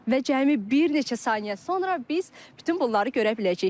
Və cəmi bir neçə saniyə sonra biz bütün bunları görə biləcəyik.